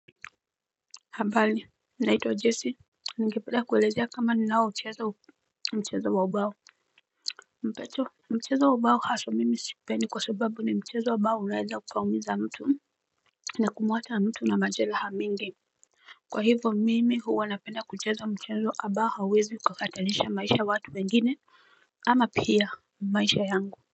Habari nanaitwa jesi Ningepanda kuelezea kama ni naomchezo mchezo wa obao Mpecho mchezo wa obao haswa mimi sipeni kwa subabu ni mchezo obao unezaukaumiza mtu na kumwacha na mtu na majela hamingi Kwa hivyo mimi huwa wanapenda kuchezo mchezo abao hawizi kuhatanisha maisha watu mengine ama pia maisha yangu.